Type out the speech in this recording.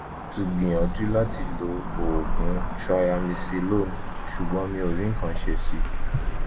mo ti gbìyànjú láti lo oògùn triamcinolone ṣùgbọ́n mi ò rí nǹkan ṣe sí i